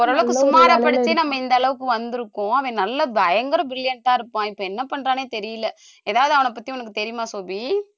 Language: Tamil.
நம்ம ஓரளவுக்கு சுமாரா படிச்சே நம்ம இந்த அளவுக்கு வந்திருக்கோம் அவன் நல்லா பயங்கர brilliant ஆ இருப்பான் இப்ப என்ன பண்றான்னே தெரியலே ஏதாவது அவன பத்தி உனக்கு தெரியுமா சோபி